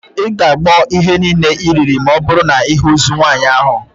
Ị ga-agbọ ihe niile iriri ma ọbụrụ na ịhụ ozu nwaanyị ahụ